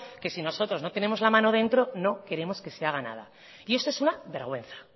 que si nosotros no tenemos la mano dentro no queremos que se haga nada y esto es una vergüenza